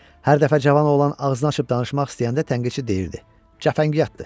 Hər dəfə cavan oğlan ağzını açıb danışmaq istəyəndə tənqidçi deyirdi: “Cəfəngiyatdır”.